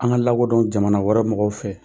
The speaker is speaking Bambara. An ka lakodɔn jamana wɛrɛ mɔgɔw fɛ.